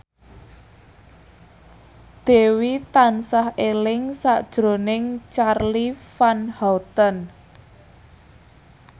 Dewi tansah eling sakjroning Charly Van Houten